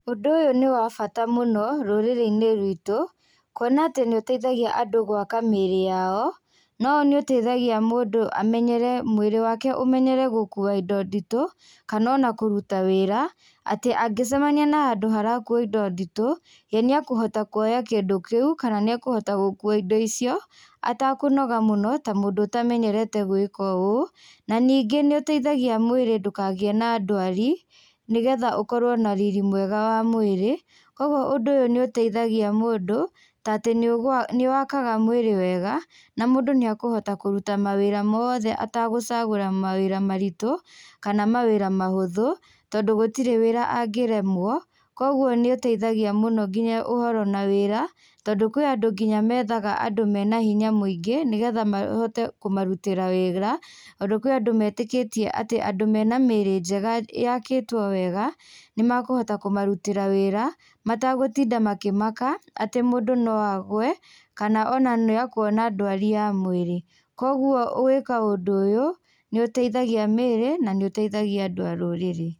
Ũndũ ũyũ nĩ wa bata mũno rũrĩrĩ-inĩ rwitũ, kuona atĩ nĩũteithagia andũ gwaka mĩrĩ yao, no nĩũteithagia mũndũ amenyere, mwĩrĩ wake ũmenyere gũkua indo nditũ, kana ona kũruta wĩra, atĩ angĩcemania na handũ harakuo indo nditũ, ye nĩeũhota kuoya kĩndũ kĩu, kana nĩekũhota gũkua indo icio, atakũnoga mũno ta mũndũ ũtamenyerete gũĩka ũũ. Na ningĩ nĩũteithagia mwĩrĩ ndũkagĩe na ndwari, nĩgetha ũkorwo na riri mwega wa mwĩrĩ. Kuoguo ũndũ ũyũ nĩũteithagia mũndũ, tatĩ nĩwakaga mwĩrĩ wega, na mũndũ nĩekũhota kũruta mawĩra moothe atagũcagũra mawĩra maritũ, kana mawĩra mahũthũ, tondũ gũtirĩ wĩra angĩremwo, kuoguo nĩũteithagia mũno kinya ũhoro na wĩra, tondũ kwĩ andũ kinya methaga andũ mena hinya mũingĩ, nĩgetha mahote kũmarutĩra wĩra, ondũ kwĩ andũ metĩkĩtie atĩ andũ mena mĩrĩ njega yakĩtwo wega, nĩmakũhota kũmarutĩra wĩra mategũtinda makĩmaka, atĩ mũndũ no agwe, kana ona nĩekuona ndwari ya mwĩrĩ. Kuoguo gwĩka ũndũ ũyũ, nĩũteithagia mĩrĩ, na nĩũteithagia andũ a rũrĩrĩ.